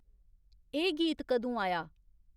एह् गीत कदूं आया